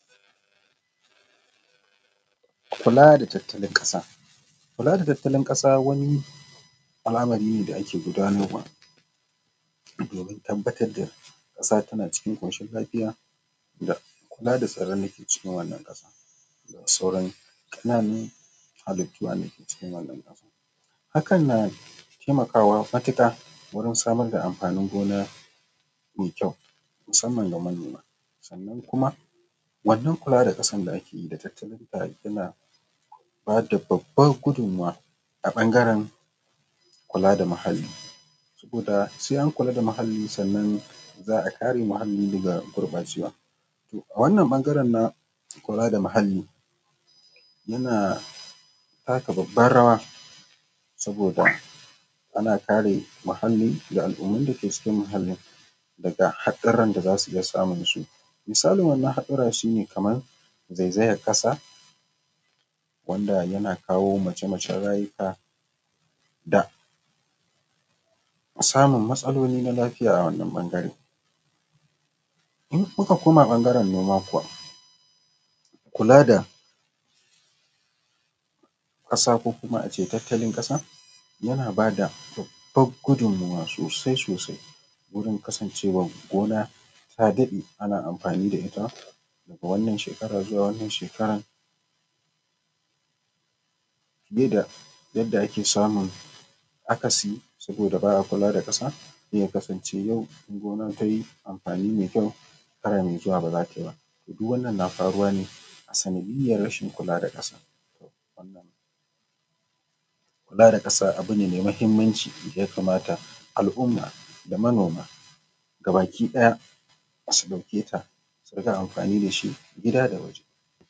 Kula da tattalin ƙasa, kula da tattalin ƙasa wani al’amari ne da ake gudanarwa domin tabbatar da ƙasa tana cikin koshin lafiya da kula da tsaron dake cikin wannan ƙasa da sauran ƙananun hallitu dake cikin wannan ƙasa, hakan na taimakawa matuƙa wurin samar da amfanin gona mai kyau musamman ga manoma, sannan kuma wannan kula da ƙasar da ake yi da tattalin da ake tana ba da babbar gudumuwa ta bangaren kula da muhali saboda sai an kula da muhalli sannan za a kare muhalli daga gurɓacewa, to a wannan bangaren na kula da muhali yana taka babba rawa saboda ana kare muhali da al’ummun dake cikin muhalin daga hatsuran da zasu iya samun su misalin wannan hatsuran shi ne kaman zaizayen ƙasa wanda yana kawo mace-macen rayuka da samun matsaloli na lafiya, a wannan bangare in aka koma bangaren noma kuwa kula da ƙasa ko kuma ace tattalin ƙasa yana bada babbar gudumawar sosai sosai wurin kasancewar gona ta daɗe ana amfanin da ita daga wannan shekara zuwa wannan shekara ba yadda ake samun akasi saboda ba a kula da ƙasa ya kasance yau in gona tayi amfani mai kyau shekara mai zuwa ba zata yi ba duk wannan na faruwa ne sanadiyar rashin kula da ƙasa, wannan kula da ƙasa, abu ne mai muhimmaci daya kamata al’umma da manoma gaba ki ɗaya dasu ɗauke ta da su rika amfani da shi gida da waje.